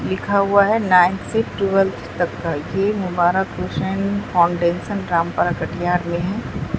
लिखा हुआ है नाइन से ट्वेल्व तक का ये मुबारक कुशन फाउंडेशन रामपरा कटिहार में है।